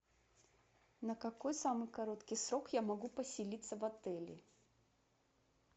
на какой самый короткий срок я могу поселиться в отеле